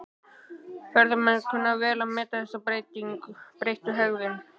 Ferðamenn kunna vel að meta þessa breyttu hegðun.